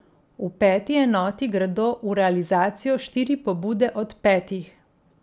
V peti enoti gredo v realizacijo štiri pobude od petih.